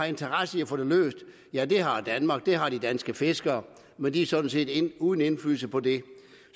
interesse i at få det løst ja det har danmark det har de danske fiskere men de er sådan set uden indflydelse på det